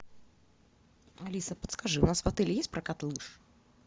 алиса подскажи у нас в отеле есть прокат лыж